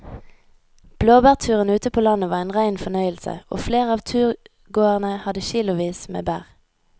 Blåbærturen ute på landet var en rein fornøyelse og flere av turgåerene hadde kilosvis med bær.